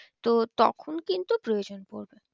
তো তখন কিন্তু প্রয়োজন পড়বে।